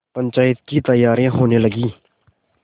पंचायत की तैयारियाँ होने लगीं